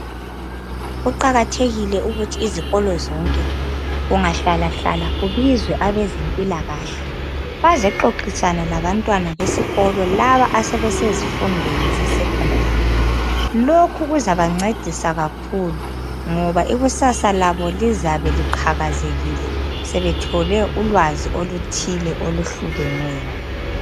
Kuqakathekile ukuthi izikolo zonke kunga hlala hlala kubizwe abezempilakahle bazexoxisana labantwana besikolo laba asebesezifundweni ze sekhondari lokhu kuzaba ncedisa kakhulu ngoba ikusasa labo lizabe liqhakazekile sebethole ulwazi oluthile oluhlukeneyo.